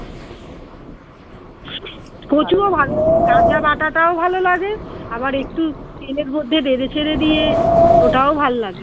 কাঁচা বাঁটাটাও ভালো লাগে আবার একটু তেলের মধ্যে নেড়ে চেরে দিয়ে ওটাও ভাল লাগে